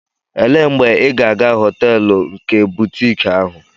Elee mgbe ị ga-aga họteelu nke butiiki ahụ?